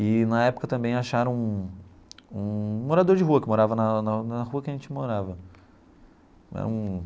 E na época também acharam um um morador de rua, que morava na na na rua que a gente morava né um.